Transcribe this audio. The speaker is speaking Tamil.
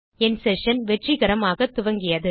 என் செஷன் வெற்றிகரமாக துவங்கியது